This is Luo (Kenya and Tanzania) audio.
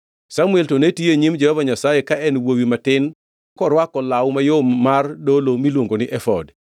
Samuel to ne tiyo, e nyim Jehova Nyasaye ka en wuowi matin korwako law mayom mar dolo miluongo ni efod.